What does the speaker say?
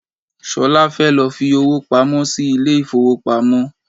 Solá fẹ́ lọ fi owó pamó sì ilé ifowopamo.